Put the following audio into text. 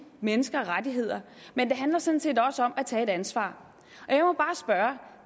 mennesker rettigheder men det handler sådan set også om at tage et ansvar